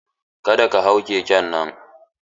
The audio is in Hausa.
Ka da ka hau keken nan!